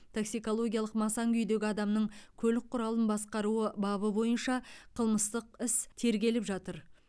таксикологиялық масаң күйдегі адамның көлік құралын басқаруы бабы бойынша қылмыстық іс тергеліп жатыр